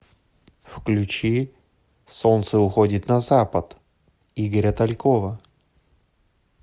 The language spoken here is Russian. включи солнце уходит на запад игоря талькова